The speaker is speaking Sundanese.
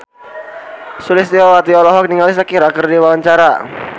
Sulistyowati olohok ningali Shakira keur diwawancara